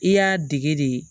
I y'a dege de